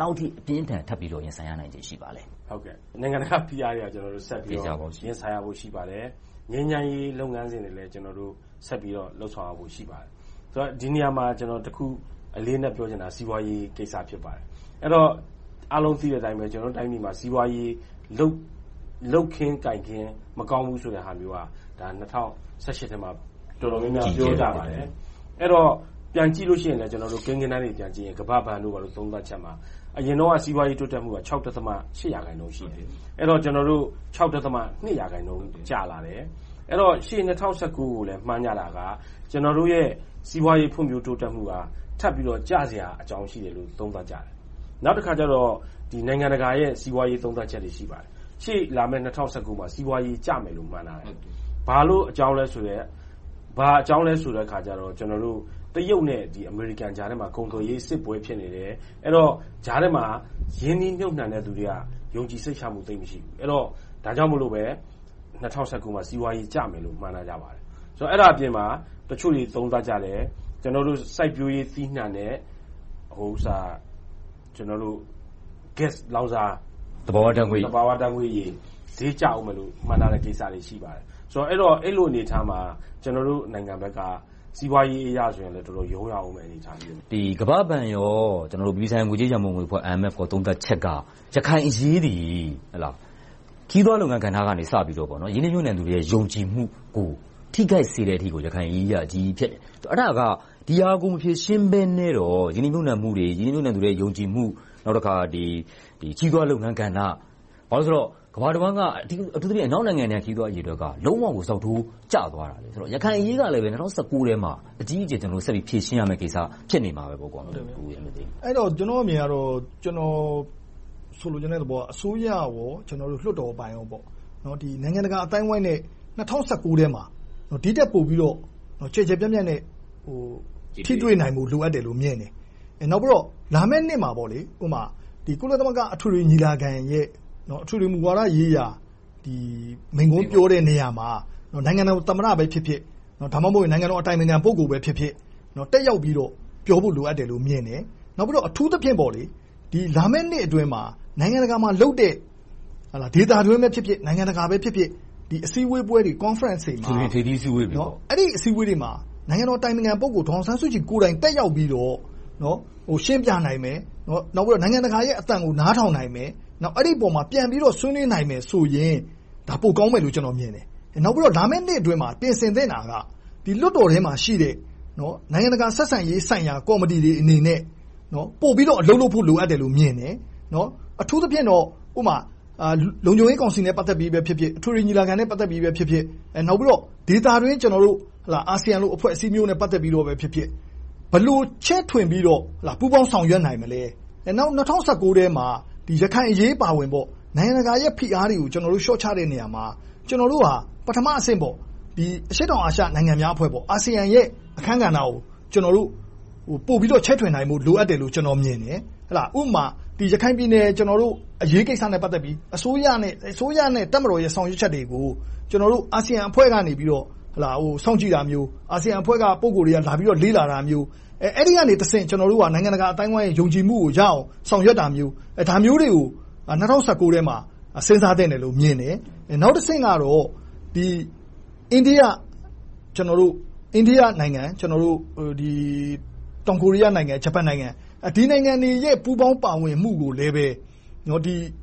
လောက်အထိ အပြင်းအထန် ထပ်ပြီးတော့ ရင်ဆိုင်ဖို့ ရှိပါသလဲ။ နိုင်ငံတကာဖိအားတွေ ဆက်ပြီးတော့ ရင်ဆိုင်ရဖို့ ရှိပါတယ်။ ငြိမ်းချမ်းရေးလုပ်ငန်းစဉ်တွေလည်း ဆက်ပြီးတော့ လုပ်ဆောင်ရဖို့ ရှိပါတယ်။ ဒီနေရာမှာ အလေးအနက်တခုပြောချင်တာက စီးပွားရေးကိစ္စ ဖြစ်ပါတယ်။ အားလုံးသိတဲ့အတိုင်း ကျနော်တို့တိုင်းပြည်မှာ စီးပွားရေး လုပ်ခင်းကိုင်ခင်း မကောင်းဘူးဆိုတာဟာမျိုးက ၂၀၁၈ ထဲမှာ တော်တော်များများ ပြောကြပါတယ်။ အဲဒီတော့ ပြန်ကြည့်လို့ရှိရင်လဲ ကိန်းဂဏန်းတွေ ပြန်ကြည့်ရင် ကမ္ဘာ့ဘဏ်တို့ သုံးသပ်ချက်မှာ အရင်တုန်းက စီးပွားရေးတိုးတက်မှုက ၆.၈ ရာခိုင်နှုန်း ရှိတယ်။ အခု ၆.၂ ရာခိုင်နှုန်းအထိ ကျလာတယ်။ အဲဒီတော့ ရှေ့ ၂၀၁၉ ကိုလည်း မှန်းကြည့်ကြတာက ကျနော်တို့ရဲ့ စီးပွားရေးဖွံ့ဖြိုးတိုးတက်မှုက ထပ်ပြီးတော့ ကျစရာအကြောင်းရှိတယ်လို့ သုံးသပ်ကြတယ်။ နောက်တခါကြတော့ နိုင်ငံတကာစီးပွားရေး သုံးသပ်ချက်တွေ ရှိပါတယ်။ ရှေ့လာမယ့် ၂၀၁၉ မှာ စီးပွားရေးကျမယ်လို့ မှန်းထားကြတယ်။ ဘာအကြောင်းလဲဆိုတော့ တရုတ်နဲ့ အမေရိကန်ကြားထဲမှာ ကုန်သွယ်ရေးစစ်ပွဲ ဖြစ်နေတယ်။ အဲဒီတော့ ကြားထဲမှာ ရင်းနှီးမြုပ်နံှတဲ့ လူတွေက ယုံကြည်စိတ်ချမှု မရှိဘူး။ ဒါကြောင့်မို့လို့ပဲ ၂၀၁၉ မှာ စီးပွားရေးကျမယ်လို့ မှန်းထားကြပါတယ်။ အဲဒါအပြင်မှာ တချို့တွေ သုံးသပ်ကြတယ်။ စိုက်ပျိုးရေးသီးနံှနဲ့ ဂတ်စ် ရေနံ၊ သဘာဝဓါတ်ငွေ့တွေ ဈေးကျအုံးမယ်လို့ မှန်းထားတာတွေ ရှိပါတယ်။ အဲဒီလိုအနေအထားမှာ ကျနော်တို့နိုင်ငံဘက်က စီးပွားရေးအရ တော်တော်လေးရုန်းရမယ့် အနေအထားတွေ ရှိပါတယ်။ ကမ္ဘာ့ဘဏ်၊ အပြည်ပြည်ဆိုင်ရာငွေကြေးရန်ပုံငွေအဖွဲ့တို့ သုံးသပ်ချက်က ရခိုင်အရေးသည် ခရီးသွားလုပ်ငန်းကစပြီးတော့ ရင်းနှီးမြုပ်နံှသူတွေရဲ့ ယုံကြည်မှုကို ထိခိုက်စေနိုင်တဲ့အထိ ရခိုင်အရေးက အကြီးကြီးဖြစ်တယ်။ ဒီဟာကို မဖြေရှင်းဘဲနဲ့တော့ ရင်းနှီးမြုပ်နံှမှုတွေ၊ ရင်းနှီးမြုပ်နံှသူတွေရဲ့ ယုံကြည်မှု။ နောက်တခါ ခရီးသွားလုပ်ငန်း - ကမ္ဘာတဝှမ်းက အထူးသဖြင့် အနောက်နိုင်ငံက ခရီးသွားအရေအတွက်က လုံးဝကို ဇောက်ထိုးကျသွားခဲ့တယ်။ ရခိုင်အရေးကလည်း ၂၀၁၉ ထဲမှာ အကြီးအကျယ် ဆက်ပြီးဖြေရှင်းရမယ့်ကိစ္စ ဖြစ်နေမှာပေါ့။ ကျနော့်အမြင်၊ ကျနော်ဆိုလိုချင်တဲ့သဘောက အစိုးရနဲ့ လွှွတ်တော်အပိုင်းတို့က နိုင်ငံတကာအသိုင်းအဝိုင်းနဲ့ ၂၀၁၉ ထဲမှာ ဒီထက်ပိုပြီးတော့ ကျယ်ကျယ်ပြန့်ပြန့်နဲ့ ထိတွေ့နိုင်ဖို့ လိုအပ်မယ်လို့မြင်တယ်။ နောက်ပြီးတော့ လာမယ့်နှစ်မှာ ကုလသမဂ္ဂအထွေထွေညီလာခံရဲ့ အထွေထွေမူဝါဒရေးရာ မိန့်ခွန်းပြောတဲ့နေရာမှာ နိုင်ငံတော်သမ္မတပဲဖြစ်ဖြစ်၊ ဒါမှမဟုတ် နိုင်ငံတော်အတိုင်ပင်ခံ ပုဂ္ဂိုလ်ပဲဖြစ်ဖြစ် တက်ရောက်ပြီးတော့ ပြောဖို့လိုတယ်လို့ မြင်တယ်။ နောက်ပြီးတော့ အထူးသဖြင့် လာမယ့်နှစ်အတွင်းမှာ နိုင်ငံတကာမှာလုပ်တဲ့ ဒေသတွင်းပဲဖြစ်ဖြစ်၊ နိုင်ငံတကာပဲဖြစ်ဖြစ် အစည်းအဝေးပွဲတွေ Conference တွေမှာ နိုင်ငံတော်အတိုင်ပင်ခံ ပုဂ္ဂိုလ် ဒေါ်အောင်ဆန်းစုကြည်ကိုယ်တိုင် တက်ရောက်ပြီးတော့ ရှင်းပြနိုင်မယ်။ နောက်ပြီးတော့ နိုင်ငံတကာရဲ့ အသံကို နားထောင်နိုင်မယ်။ အဲဒီအပေါ် ပြန်ပြီးတော့ ဆွေးနွေးနိုင်မယ်ဆိုရင် ပိုကောင်းမယ်လို့ ကျနော်မြင်တယ်။ နောက်ပြီးတော့ လာမယ့်နှစ်အတွင်းမှာ ပြင်ဆင်သင့်တာက လွှတ်တော်ထဲမှာရှိတဲ့ နိုင်ငံတကာဆက်ဆံရေးဆိုင်ရာ ကော်မတီတွေအနေနဲ့ ပိုပြီးတော့ အလုပ်လုပ်ဖို့လိုအပ်တယ်လို့ မြင်ပါတယ်။ အထူးသဖြင့်တော့ လုံခြုံရေးကောင်စီနဲ့ဖြစ်ဖြစ်၊ အထွေထွေညီလာခံနဲ့ ပတ်သက်ပြီးဖြစ်ဖြစ် နောက်ပြီးတော့ ဒေသတွင်း အာဆီယံလိုအဖွဲ့မျိုးနဲ့ ပတ်သက်ပြီးဖြစ်ဖြစ် ဘယ်လိုချဲ့ထွင်ပြီးတော့ ပူးပေါင်းဆောင်ရွက်နိုင်မလဲ။ နောက် ၂၀၁၉ ထဲမှာ ရခိုင်အရေးအပါအဝင် နိုင်ငံတကာရဲ့ ဖိအားတွေကို လျှော့ချတဲ့နေရာမှာ ကျနော်တို့ဟာ ပထမအဆင့် အရှေ့တောင်အာရှ နိုင်ငံများအဖွဲ့၊ အာဆီယံရဲ့ အခန်းကဏ္ဍကို ပိုပြီးတော့ ချဲ့ထွင်နိုင်ဖို့ လိုအပ်တယ်လို့မြင်တယ်။ ဥပမာ ရခိုင်ပြည်နယ်အရေးကိစ္စနဲ့ ပတ်သက်ပြီး အစိုးရနဲ့ တပ်မတော် ဆောင်ရွက်ချက်တွေကို အာဆီယံအဖွဲ့ကနေ စောင့်ကြည့်တာမျိုး၊ အာဆီယံအဖွဲ့က ပုဂ္ဂိုလ်တွေ လာရောက်လေ့လာတာမျိုး အဲဒီကနေတဆင့် နိုင်ငံတကာအသိုင်းအဝိုင်းရဲ့ ယုံကြည်မှုရအောင် ဆောင်ရွက်တာမျိုး ဒါမျိုးတွေကို ၂၀၁၉ ထဲမှာ စဉ်းစားသင့်တယ်လို့မြင်တယ်။ နောက်တဆင့်ကတော့ အိန္ဒိယနိုင်ငံ၊ တောင်ကိုရီးယားနိုင်ငံ၊ ဂျပန်နိုင်ငံ- ဒီနိုင်ငံတွေရဲ့ ပူးပေါင်းပါဝင်မှုကိုလည်း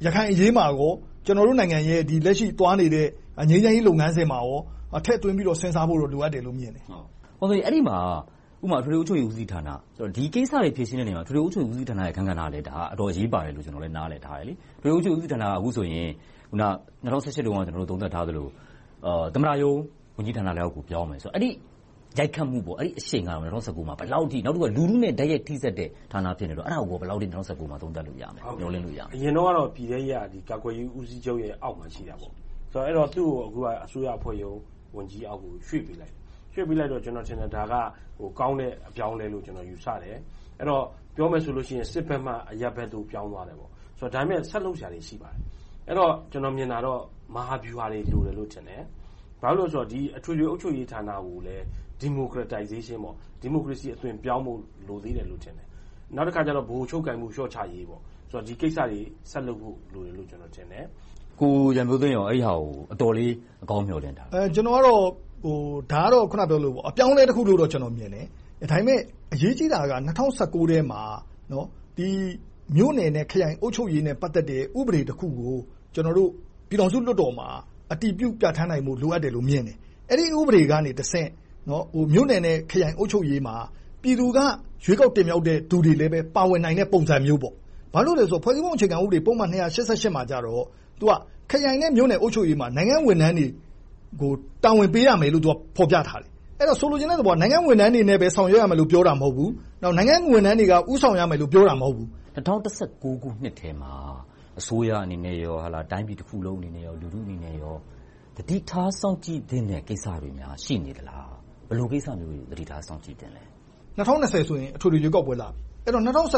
ရခိုင်အရေးမှာနဲ့ ကျနော်နိုင်ငံရဲ့ လက်ရှိသွားနေတဲ့ ငြိမ်းချမ်းရေးလုပ်ငန်းစဉ်မှာပါ ထည့်သွင်းပြီးတော့ စဉ်းစားဖို့ လိုအပ်တယ်လို့ မြင်တယ်။ အဲဒီမှာ အထွေထွေအုပ်ချုပ်ရေးမှူးဌာန - ဒီကိစ္စတွေ ဖြေရှင်းတဲ့နေရာမှာ အထွေထွေအုပ်ချုပ်ရေးမှူးဌာနရဲ့ အခန်းကဏ္ဍကလည်း အတော်အရေးပါတယ်လို့ နားလည်တယ်။ အထွေထွေအုပ်ချုပ်ရေးမှူးဌာနက အခုဆိုရင် ၂၀၁၈ တုန်းက ကျနော်တို့ သုံးသပ်ထားသလို သမ္မတရုံးဝန်ကြီးဌာနလက်အောက်ကို ပြောင်းမယ်ဆိုတော့ ၂၀၁၉ မှာ အဲဒီအရှိန်က ဘယ်လောက်အထိ၊ နောက်တခုက လူထုနဲ့ တိုက်ရိုက်ထိဆက်တဲ့ ဌာန ဖြစ်နေတော့ အဲဒါကို ဘယ်လောက်အထိ ၂၀၁၉ မှာ သုံးသပ်လို့ရမလဲ။ မျှော်လင့်လို့ရမလဲ။ အရင်တုန်းကတော့ ပြည်ထဲရေးက ကာကွယ်ရေးဦးစီးချုပ်ရဲ့အောက်မှာ ရှိနေခဲ့တယ်။ အခုက သူကို အစိုးရအဖွဲ့ရုံးဝန်ကြီးဌာနအောက်ကို ရွှေ့ပေးလိုက်တယ်။ ရွှေ့ပေးလိုက်တော့ ဒါက ကောင်းတဲ့ အပြောင်းအလဲလို့ ယူဆပါတယ်။ အဲဒီတော့ ပြောမယ်ဆိုရင် စစ်ဘက်ကနေ အရပ်ဘက်သို့ ပြောင်းသွားတယ်ပေါ့။ ဒါပေမဲ့ ဆက်လုပ်စရာတွေ ရှိပါတယ်။ ကျနော်မြင်တာတော့ မဟာဗျူဟာတွေ လိုတယ်လို့ထင်တယ်။ ဘာဖြစ်လို့လဲဆိုတော့ အထွေထွေအုပ်ချုပ်ရေးဌာနကိုလည်း Democratization ဒီမိုကရေစီအသွင်ပြောင်းဖို့ လိုသေးတယ်လို့ထင်တယ်။ နောက်တခါ ဗဟိုချုပ်ကိုင်မှု လျှော့ချရေး။ ဒီကိစ္စတွေ ဆက်လုပ်ဖို့လိုတယ်လို့ ကျနော် ထင်သေးသလား။ ကိုရန်မျိုးသိန်းအနေနဲ့ အဲဒီကိစ္စကို အတော်လေး အကောင်းမျှော်လင့်ထားသလား။ ဒါကတော့ အပြောင်းအလဲတခုလို့တော့ ကျနော်မြင်တယ်။ ဒါပေမဲ့ အရေးကြီးတာက ၂၀၁၉ ထဲမှာ မြို့နယ်နဲ့ ခရိုင် အုပ်ချုပ်ရေးနဲ့ ပတ်သက်တဲ့ ဥပဒေတခုကို ကျနော်တို့ ပြည်ထောင်စုလွှတ်တော်မှာ အတည်ပြုပြဌာန်းနိုင်ဖို့ လိုအပ်တယ်လို့မြင်တယ်။ အဲဒီဥပဒေကနေတဆင့် မြို့နယ်နဲ့ ခရိုင်အုပ်ချုပ်ရေးမှာ ပြည်သူက ရွေးကောက်တင်မြှောက်တဲ့လူတွေလည်း ပါဝင်နိုင်တဲ့ပုံစံမျိုး - ဘာကြောင့်လဲဆိုတော့ ဖွဲ့စည်းပုံအခြေခံဥပဒေ ပုဒ်မ မှာတော့ ခရိုင်နဲ့ မြို့နယ်အုပ်ချုပ်ရေးမှာ နိုင်ငံဝန်ထမ်းတွေကို တာဝန်ပေးရမယ်လို့ ဖော်ပြထားတယ်။ အဲဒီတော့ ဆိုလိုချင်တာက နိုင်ငံဝန်ထမ်းတွေနဲ့ပဲ ဆောင်ရွက်ရမယ်လို့ ပြောတာမဟုတ်ဘူး။ နောက်နိုင်ငံဝန်ထမ်းတွေက ဦးဆောင်ရမယ်လို့ ပြောတာ မဟုတ်ဘူး။ ၂၀၁၉ နှစ်ထဲမှာ အစိုးရအနေနဲ့၊ တိုင်းပြည်တခုလုံးအနေနဲ့ လူထုအနေနဲ့ သတိထားစောင့်ကြည့်သင့်တဲ့ ကိစ္စတွေများ ရှိနေသလား။ ဘယ်လိုကိစ္စမျိုးတွေကို သတိထားစောင့်ကြည့်သင့်သလဲ။ ၂၀၂၀ ဆိုရင် အထွေထွေရွေးကောက်ပွဲလာပြီ။ အဲဒီတော့ ၂၀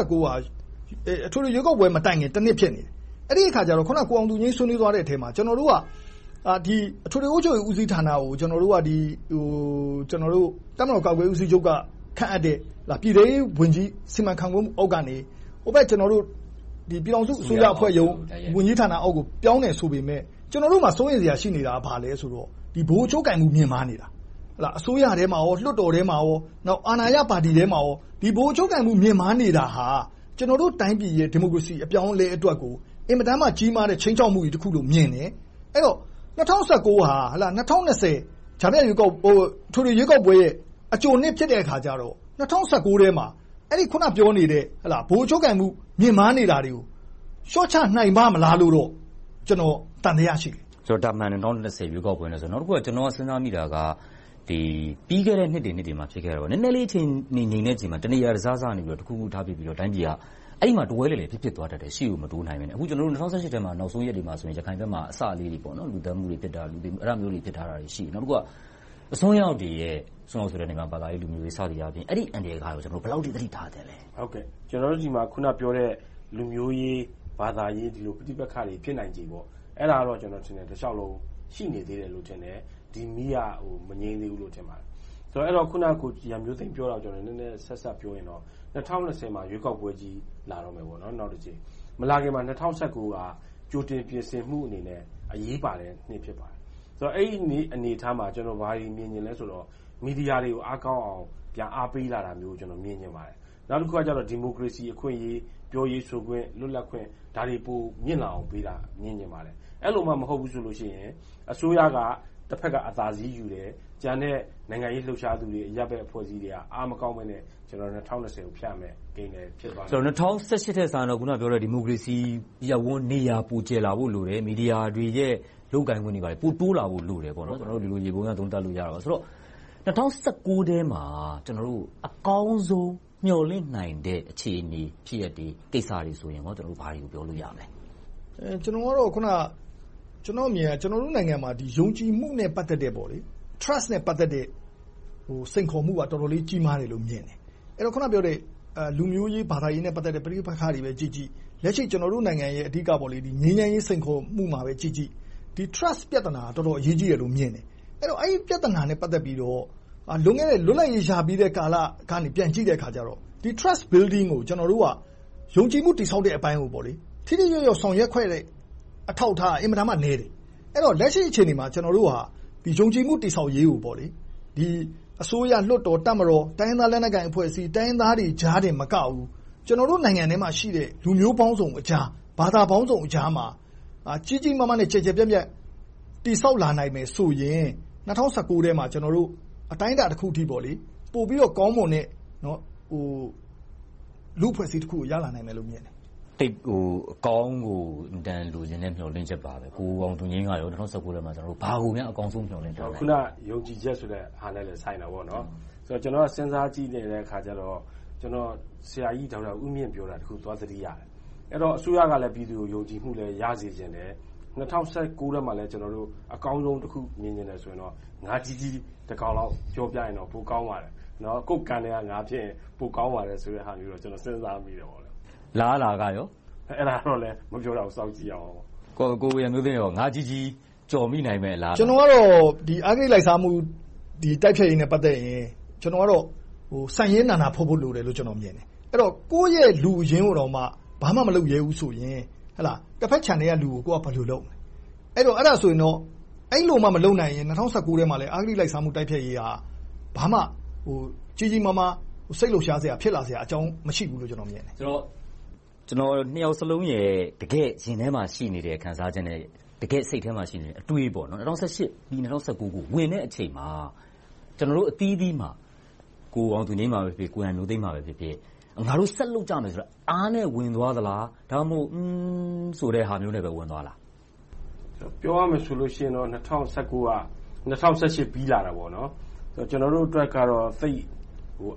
၁၉ က အထွေထွေရွေးကောက်ပွဲ မတိုင်မီ တနှစ်ဖြစ်တယ်။ အဲဒီအခါကြတော့ အခုန ကိုအောင်သူငြိမ်း ဆွေးနွေးသွးတဲ့အထဲမှာ ကျနော်တို့က အထွေထွေအုပ်ချုပ်ရေးဦးစီးဌာနကို ကျနော်တို့က တပ်မတော်ကာကွယ်ရေးဦးချုပ်က ခန့်အပ်တဲ့ ပြည်ထဲရေးဝန်ကြီး စီမံခန့်ခွဲမှုအောက်ကနေ ဟိုဘက် ပြည်ထောင်စုအဖွဲ့ရုံးဝန်ကြီးဌာနအောက်ကို ပြောင်းတယ်ဆိုပေမယ့် ကျနော်တို့မှာ စိုးရိမ်စရာ ရှိနေတာက ဘာလဲဆိုတော့ ဗဟိုချုပ်ကိုင်မှု မှားနေတာ။ အစိုးရထဲမှာ၊ လွှတ်တော်ထဲမှာ၊ အာဏာရဲ့ပါတီထဲမှာရော ဗဟိုချုပ်ကိုင်မှု မြှင့်မားနေတာဟာ ကျနော်တို့တိုင်းပြည်ရဲ့ ဒီမိုကရေစီ အပြောင်းအလဲအတွက်ကို အင်မတန်မှ ကြီးမားတဲ့ ခြိမ်းခြောက်မှုကြီးတခုလို့ မြင်တယ်။ အဲဒီတော့ ၂၀၁၉ ဟာ ၂၀၂၀ အထွေထွေရွေးကောက်ပွဲရဲ့ အကြိုနှစ်ဖြစ်တဲ့အခါကြတော့ ၂၀၁၉ ထဲမှာ အခုနပြောနေတဲ့ ဗဟိုချုပ်ကိုင်မှု မြင့်မားနေတာတွေကို လျှော့ချနိုင်ပါ့မလားလို့ ကျနော်က သံသယ ရှိတယ်။ နောက်တခု ကျနော် စဉ်းစားမိတာက ပြီးခဲ့တဲ့နှစ်တွေမှာ ဖြစ်ခဲ့တော့ နည်းနည်းလေး ငြိမ်နေတဲ့အချိန်မှာ တနေရာတစစကနေ တခုခု ထဖြစ်ပြီးတော့ တိုင်းပြည်က အဲဒီမှာ တဝဲလည်လည် ဖြစ်သွားတတ်တယ်။ အရှေ့ကို မတိုးနိုင်ဘဲနဲ့။ အခု ၂၀၁၈ ထဲမှာ နောက်ဆုံးရက်တွေမှာဆိုရင် ရခိုင်ဘက်မှာ အစကလေးတွေ - လူသတ်မှုတွေဖြစ်တာ၊ လူသေမှုတွေ အဲဒါလေးတွေ ဖြစ်ထားတယ်။ နောက်တခုက အစွန်းရောက်တွေရဲ့ ဘာသာရေး၊ လူမျိုးရေး စသဖြင့် အဲဒါတွေကို ဘယ်လောက်အထိ သတိထားသင့်သလဲ။ ကျနော်တို့ဆီမှာ အခုနပြောတဲ့ လူမျိုးရေး၊ ဘာသာရေး ပဋိပက္ခတွေ ဖြစ်နိုင်ခြေ အဲဒါကတော့ တလျှောက်လုံး ရှိနေသေးတယ်လို့ထင်တယ်။ ဒီမီးက မငြိမ်သေးဘူးလို့ ထင်ပါတယ်။ အခုန ကိုရန်မျိုးသိမ်း ပြောတာနဲ့ ဆက်စပ်ပြောရင်တော့ ၂၀၂၀ မှာ ရွေးကောက်ပွဲကြီး နောက်တကြိမ် လာတော့မယ်။ မလာခင်မှာ ၂၀၁၉ က ကြိုတင်ပြင်ဆင်မှုအနေနဲ့ အရေးပါတဲ့နှစ် ဖြစ်ပါတယ်။ အဲဒီအနေအထားမှာ ကျနော် ဘာတွေမြင်နေသလဲဆိုတော့ မီဒီယာတွေကို အားကောင်းအောင် အားပေးတာမျိုးကို မြင်ချင်ပါတယ်။ နောက်တခုက ဒီမိုကရေစီအခွင့်အရေး၊ ပြောရေးဆိုရေး၊ လွတ်လပ်ခွင့် ဒါတွေကို မြင့်လာအောင်လုပ်ပေးတာ မြင်ချင်ပါတယ်။ အဲဒီလိုမှ မဟုတ်ဘူးဆိုရင် အစိုးရက တဘက်က အသာစီးယူတယ်။ ကျန်တဲ့ နိုင်ငံရေးလှုပ်ရှားသူတွေ၊ အရပ်ဘက်အဖွဲ့အစည်းတွေက အားမကောင်းဘဲနဲ့ ၂၀၂၀ ကို ဖြတ်ရမယ့်ကိန်းပဲ ဖြစ်သွားနိုင်တယ်။ ဆိုတော့ ၂၀၁၈ ထက်ဆရင်တော့ အခုနပြောတဲ့ ဒီမိုကရေစီ ရပ်ဝန်း၊ နေရာ ပိုကျယ်လာဖို့ လိုတယ်။ မီဒီယာတွေရဲ့ လုပ်ပိုင်ခွင့်တွေ ပိုတိုးလာဖို့ လိုတယ်ပေါ့။ ဒီလို ယေဘုယျ သုံးသပ်လို့ရတယ်။ ဆိုတော့ ၂၀၁၉ ထဲမှာ အကောင်းဆုံး မျှော်လင့်နိုင်တဲ့ အခြေအနေ၊ ဖြစ်ရပ်တွေ၊ ကိစ္စတွေဆိုရင် ဘာတွေကို ပြောလို့ရမလဲ။ ကျနော့်အမြင်ကတော့ ကျနော်တို့နိုင်ငံမှာ ယုံကြည်မှု Trust နဲ့ ပတ်သက်တဲ့ စိန်ခေါ်မှုက တော်တော်လေး ကြီးမားတယ်လို့မြင်တယ်။ အခုနပြောတဲ့ လူမျိုးရေး၊ ဘာသာရေးနဲ့ ပတ်သက်တဲ့ ပဋိပက္ခတွေကိုပဲကြည့်ကြည့် လက်ရှိ ကျနော်တို့နိုင်ငံရဲ့ ငြိမ်းချမ်းရေးစိန်ခေါ်မှုမှာပဲကြည့်ကြည့် ဒီ Trust ပြဿနာက တော်တော်လေး အရေးကြီးတယ်လို့ မြင်တယ်။ အဲဒီပြဿနာနဲ့ ပတ်သက်ပြီးတော့ လွန်ခဲ့တဲ့ လွတ်လပ်ရေးရပြီကာလကနေ ပြန်ကြည့်တဲ့အခါကြတော့ ဒီ Trust Building ကို ကျနော်တို့က ယုံကြည်မှုတည်ဆောက်တဲ့အပိုင်းကို ထိထိရောက်ရောက် ဆောင်ရွက်ခဲ့တဲ့ အထောက်အထားက အင်မတန်မှနည်းတယ်။ လက်ရှိအခြေအနေမှာ ကျနော်တို့က ယုံကြည်မှု တည်ဆောက်ရေးကို အစိုးရ၊ လွှတ်တော်၊ တပ်မတော်၊ တိုင်းရင်းသားလက်နက်ကိုင်အဖွဲ့အစည်း၊ တိုင်းရင်းသားတွေကြားတင်မကဘူး ကျနော်တို့နိုင်ငံအတွင်းမှာရှိတဲ့ လူမျိုးပေါင်းစုံကြား၊ ဘာသာပေါင်းစုံကြားမှာ ကြီးကြီးမားမားနဲ့ ကျယ်ကျယ်ပြန့်ပြန့် တည်ဆောက်လာနိုင်မယ်ဆိုရင် ၂၀၁၉ ထဲမှာ ကျနော်တို့ အတိုင်းအတာတခုအထိ ပိုပြီးတော့ ကောင်းမွန်တဲ့ လူ့အဖွဲ့အစည်းတခုကို ရလာနိုင်မယ်လို့ မြင်တယ်။ သိပ်ကိုအကောင်းကို အင်မတန် လိုချင်တဲ့ မျှော်လင့်ချက်ပါပဲ။ ကိုအောင်သူငြိမ်းက ၂၀၁၉ ထဲမှာ ဘာကိုများ အကောင်းဆုံး မျှော်လင့်ထားပါသလဲ။ အခုန ယုံကြည်ချက်ဟာနဲ့လည်း ဆိုင်တယ်။ ကျနော် စဉ်းစားကြည့်တာက ဆရာကြီးဒေါက်တာဦးမြင့် ပြောတာတခုကို သွားသတိရတယ်။ အဲဒီတော့ အစိုးရကလည်း ပြည်သူကို ယုံကြည်မှုလည်း ရစေချင်တယ်။ ၂၀၁၉ ထဲမှာလည်း အကောင်းဆုံးတခု မြင်ချင်တယ်ဆိုရင်တော့ ငါးကြီးကြီးတကောင်လောက် ကြော်ပြရင်တော့ ပိုကောင်းပါတယ်။ ကိုယ့်ကန်ထဲက ငါးဖြစ်ရင် ပိုကောင်းပါတယ်ဆိုတာမျိုးကို ကျနော် စဉ်းစားမိတယ်။ အလားအလာကရော… အဲဒါကတော့ မပြောတတ်ဘူး။ စောင့်ကြည့်ရမှာပေါ့။ ကိုရန်မျိုးသိန်းအနေနဲ့ ငါးကြီးကြီး ကြော်မိနိုင်မယ့် အလားအလာ.. ကျနော်ကတော့ အဂတိလိုက်စားမှု တိုက်ဖျက်ရေးနဲ့ ပတ်သက်ရင် ဆန်ရင်းနာနာဖွတ်ဖို့ လိုတယ်လို့ ကျနော်မြင်တယ်။ အဲဒီတော့ ကိုယ့်ရဲ့ လူအရင်းကိုတောင်မှ ဘာမှမလုပ်ရဲဘူးဆိုရင် တဘက်ခြံထဲကလူကို ကိုယ်က ဘယ်လိုလုပ်မလဲ။ အဲဒီလိုမှ မလုပ်ဘူးဆိုရင်တော့ ၂၀၁၉ ထဲမှာ အဂတိလိုက်စားမှု တိုက်ဖျက်ရေးက ဘာမှကြီးကြီးမားမား စိတ်လှုပ်ရှားစရာအကြောင်း မရှိဘူးလို့ ကျနော်မြင်တယ်။ နှစ်ယောက်စလုံးရဲ့ တကယ့်ရင်ထဲမှာရှိနေတဲ့ ခံစားချက်နဲ့ တကယ့်စိတ်ထဲမှာရှိတဲ့ အတွေး ၂၀၁၈ ပြီး ၂၀၁၉ ဝင်တဲ့အချိန်မှာ ကျနော်တို့အသီးသီးမှာ ငါတို့ဆက်လုပ်ကြမယ်ဆိုတဲ့ အားနဲ့ဝင်သွားသလား၊ ဒါမှမဟုတ် အားမရှိဘဲ ဝင်သွားသလား။ ပြောရမယ်ဆိုရင်တော့ ၂၀၁၉ က ၂၀၁၈ ပြီးလာတာပေါ့ - ကျနော်တို့အတွက်ကတော့ သိပ်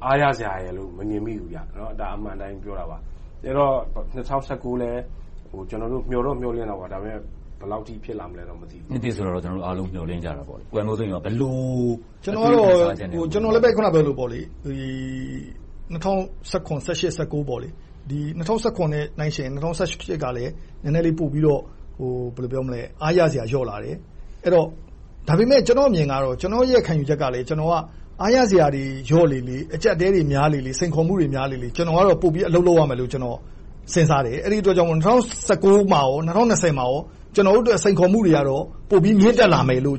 အားရစရာရယ်လို့ မမြင်မိဘူး။ ဒါက အမှန်အတိုင်း ပြောတာပါ။ အဲဒီတော့ ၂၀၁၉ လည်း ကျနော်တို့ မျှော်လင့်တာပေါ့ ဒါပေမဲ ဘယ်လောက်အထိ ဖြစ်လာမလဲ မသိပါဘူး။ နှစ်သစ်ဆိုတော့ ကျနော်တို့အားလုံး မျှော်လင့်ကြတာပေါ့။ ကျနော်လည်း အခုနပြောသလို ၂၀၁၇-၂၀၁၈-၂၀၁၉… ၂၀၁၇ နဲ့ နှိုင်းယှဉ်ရင် ၂၀၁၈ ကလည်း နည်းနည်းလေး ပိုပြီးတော့ အားရစရာ လျော့လာတယ်။ ဒါပေမဲ့ ကျနော့်အမြင်ကတော့ ခံယူချက်က ကျနော်က အားရစရာတွေ လျော့လေလေ အကျပ်အတည်းတွေများလေလေ၊ စိန်ခေါ်မှုတွေ များလေလေ ကျနော်ကတော့ ပိုပြီးအလုပ်လုပ်ရမယ်လို့ စဉ်းစားတယ်။ အဲဒီအတွက်ကြောင့် ၂၀၁၉ နဲ့ ၂၀၂၀ မှာ ကျနော်တို့အတွက် စိန်ခေါ်မှုတွေကတော့ ပိုပြီးမြင့်တက်လာမယ်လို့